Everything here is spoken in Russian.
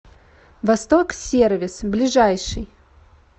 восток сервис ближайший